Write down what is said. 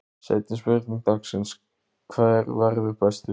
Seinni spurning dagsins: Hver verður bestur?